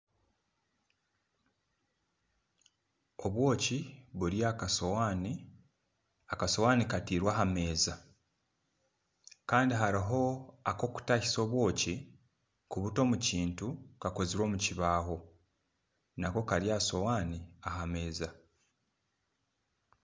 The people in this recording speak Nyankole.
Obwoki buri aha kasowani, akasowani katirwe aha meza Kandi hariho akokutahisa obwoki kubuta omu kintu kakozirwe omu kibaho Nako Kari aha suwani aha meeza.